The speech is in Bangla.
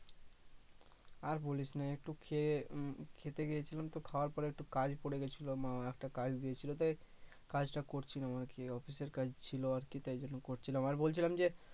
আর বলিস না একটু খেয়ে উম খেতে গিয়েছিলাম তো খাওয়ার পরে একটু কাজ পরে গেছিলো মা একটা কাজ দিয়েছিলো তাই কাজ টা করছিলাম আরকি অফিসের কাজ ছিলো আরকি তাই তখন করছিলাম আর বলছিলাম যে